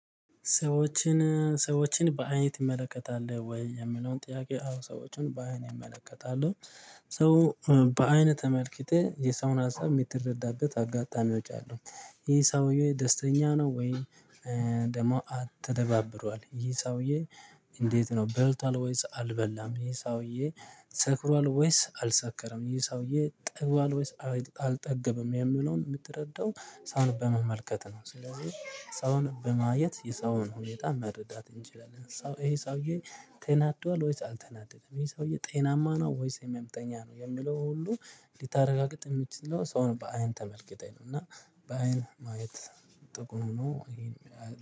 ሰዎችን ሰዎችን በአይን ይመለከታል ወይ? የምለውን ጥያቄ አዎ ሰዎችን በአይን እመለከታለሁ። ሰው በአይንህ ተመልክተህ የሰውን ሀሳብ የምትረዳበት አጋጣሚዎች አሉ ይህ ሰውዬ ደስተኛ ነው ወይ ደግሞ አትደባብሯል ይህ ሰውዬ እንዴት ነው በልቷል ወይስ አልበላም፣ ይሄ ሰውዬ ሰክሯል ወይስ አልሰከረም፣ ይሄ ሰውዬ ጠግቧል ወይስ አልጠገብም የምለውን የምትረዳው ሰውን በመመልከት ነው ስለዚህ ሰውን በማየት የሰውን ሁኔታ መረዳት እንችላለን። ሰው ይሄ ሰውዬ ተናዷል ወይስ አልተናደደም፣ ይሄ ሰውዬ ጤናማ ነው ወይስ ህመምተኛ ነው የሚለውን ሁሉ ልታረጋግጥ የምትችለው ሰውን በአይን ተመልክተህ ነው እና በአይን ማየት ጥቅሙ እሄን ያህል ነው።